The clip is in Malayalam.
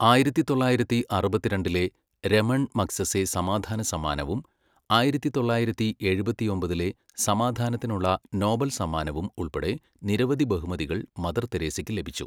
ആയിരത്തി തൊള്ളായിരത്തി അറുപത്തിരണ്ടിലെ രമൺ മഗ്സസെ സമാധാന സമ്മാനവും ആയിരത്തി തൊള്ളായിരത്തി എഴുപത്തിയൊമ്പതിലെ സമാധാനത്തിനുള്ള നോബൽ സമ്മാനവും ഉൾപ്പെടെ നിരവധി ബഹുമതികൾ മദർ തെരേസയ്ക്ക് ലഭിച്ചു.